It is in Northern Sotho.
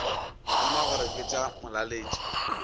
ruma gore ke tša molaletši